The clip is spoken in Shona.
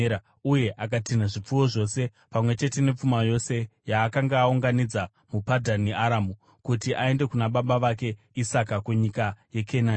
uye akatinha zvipfuwo zvose pamwe chete nepfuma yose yaakanga aunganidza muPadhani Aramu, kuti aende kuna baba vake Isaka kunyika yeKenani.